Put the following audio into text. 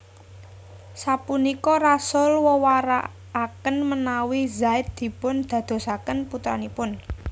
Sapunika Rasul wewarakaken menawi Zaid dipun dadosaken putranipun